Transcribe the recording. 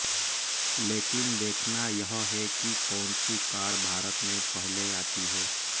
लेकिन देखना यह है कि कौनसी कार भारत में पहले आती है